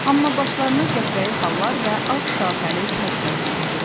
Amma başlarını qəhvəyi xallar və ağ şaxəli tac bəzəyirdi.